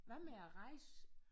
Hvad med at rejse?